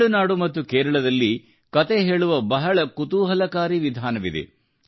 ತಮಿಳುನಾಡು ಮತ್ತು ಕೇರಳದಲ್ಲಿ ಕತೆ ಹೇಳುವ ಬಹಳ ಕುತೂಹಲಕಾರಿ ವಿಧಾನವಿದೆ